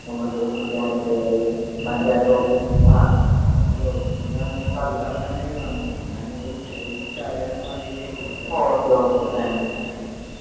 ആഹ് അതെ ഹം ഹലോ ഇന്ന് പറഞ്ഞന്നീനു നന്ദി. ഞാൻ ഇതൊന്ന് ചോദിച്ചറിയാനും വാണ്ടിട്ട് വിളിച്ചതാണ്. . എന്നാ ശരി. എന്നാ ശരി.